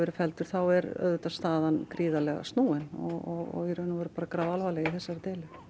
verið felldir þá er staðan gríðarlega snúin og í raun og veru grafalvarleg í þessari deilu